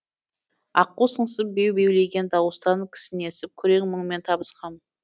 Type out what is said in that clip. аққу сыңсып беу беулеген дауыстан кісінесіп күрең мұңмен табысқам